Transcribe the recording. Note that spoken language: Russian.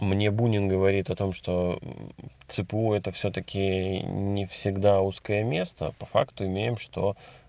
мне бунин говорит о том что цпу это всё-таки не всегда узкое место по факту имеем что